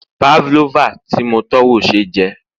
pavlova ti mo tọ́wò ṣe jẹ